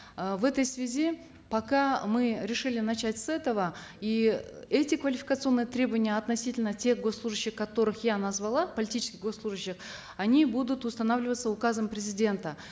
э в этой связи пока мы решили начать с этого и эти квалификационные требования относительно тех госслужащих которых я назвала политических госслужащих они будут устанавливаться указом президента